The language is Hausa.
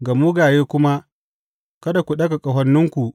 ga mugaye kuma, Kada ku ɗaga ƙahoninku.